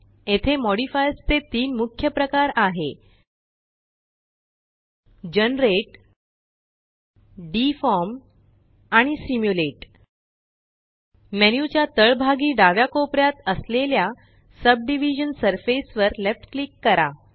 येथे मॉडिफाइयर्स चे तीन मुख्य प्रकार आहे जनरेट डिफॉर्म आणि सिम्युलेट मेन्यू च्या तळभागी डाव्या कोपऱ्यात असलेल्या सबडिव्हिजन सरफेस वर लेफ्ट क्लिक करा